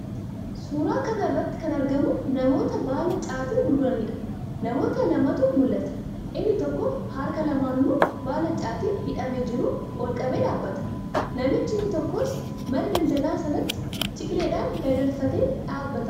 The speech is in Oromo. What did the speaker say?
Suuraa kana irratti kan argamu namoota baala caatii gurguraniidha. Namoota lamatu mul'ata. Inni tokko harka lamaanuun baala caatii hidhamee jiru ol qabee dhaabbata. Namichi inni tokkos mana daldalaa sanatti ciqileedhaan dagalfatee dhaabbata.